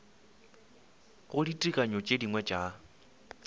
go ditekanyo tše dingwe tša